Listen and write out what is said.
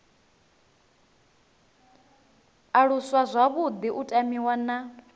aluswa zwavhuḓi u tamiwa na